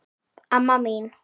Amma mín